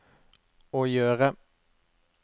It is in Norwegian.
å gjøre